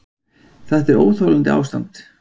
Þetta er óþolandi ástand!